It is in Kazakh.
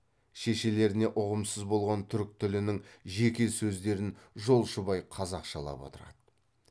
шешелеріне ұғымсыз болған түрік тілінің жеке сөздерін жолшыбай қазақшалап отырады